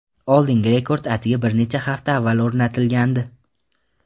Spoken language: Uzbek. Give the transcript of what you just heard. Oldingi rekord atigi bir necha hafta avval o‘rnatilgandi.